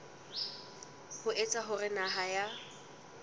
ho etsa hore naha ya